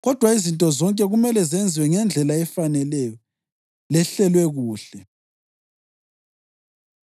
Kodwa izinto zonke kumele zenziwe ngendlela efaneleyo lehlelwe kuhle.